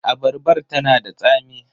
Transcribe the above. Abarbar ta na da tsami.